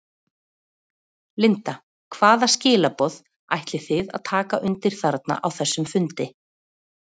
Linda: Hvaða skilaboð ætlið þið að taka undir þarna á þessum fundi?